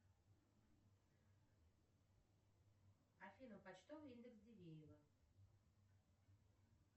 афина почтовый индекс дивеево